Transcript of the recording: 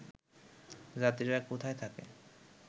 যাত্রীরা কোথায় থাকে